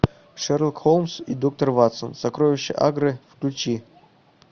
шерлок холмс и доктор ватсон сокровища агры включи